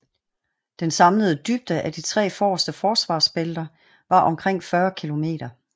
Den samlede dybde af de tre forreste forsvarsbælter var omkring 40 km